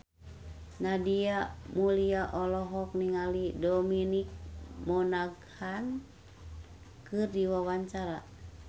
Nadia Mulya olohok ningali Dominic Monaghan keur diwawancara